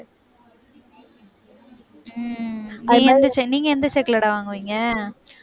உம் நீங்க எந்த செக்குலடா வாங்குவீங்க